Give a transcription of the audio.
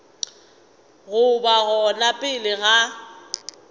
go ba gona pele ga